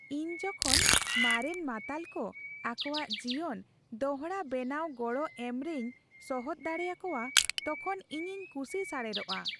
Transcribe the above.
ᱤᱧ ᱡᱚᱠᱷᱚᱱ ᱢᱟᱨᱮᱱ ᱢᱟᱛᱟᱞ ᱠᱚ ᱟᱠᱚᱣᱟᱜ ᱡᱤᱭᱚᱱ ᱫᱚᱲᱦᱟ ᱵᱮᱱᱟᱣᱨᱮ ᱜᱚᱲᱚ ᱮᱢ ᱨᱮᱧ ᱥᱚᱦᱚᱛ ᱫᱟᱲᱮ ᱟᱠᱚᱣᱟ ᱛᱚᱠᱷᱚᱱ ᱤᱧᱤᱧ ᱠᱩᱥᱤ ᱥᱟᱨᱮᱲᱚᱜᱼᱟ ᱾